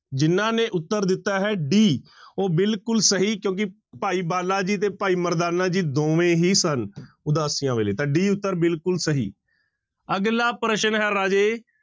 ਜਿਹਨਾਂ ਨੇ ਉੱਤਰ ਦਿੱਤਾ ਹੈ d ਉਹ ਬਿਲਕੁਲ ਸਹੀ ਕਿਉਂਕਿ ਭਾਈ ਬਾਲਾ ਜੀ ਤੇ ਭਾਈ ਮਰਦਾਨਾ ਜੀ ਦੋਵੇਂ ਹੀ ਸਨ ਉਦਾਸੀਆਂ ਵੇਲੇ ਤਾਂ d ਉੱਤਰ ਬਿਲਕੁਲ ਸਹੀ ਅਗਲਾ ਪ੍ਰਸ਼ਨ ਹੈ ਰਾਜੇ